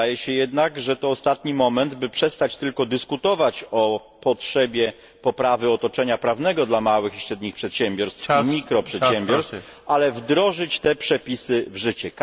Wydaje się jednak, że to ostatni moment, by przestać tylko dyskutować o potrzebie poprawy otoczenia prawnego dla małych i średnich przedsiębiorstw i mikroprzedsiębiorstw, ale wdrożyć te przepisy w życie.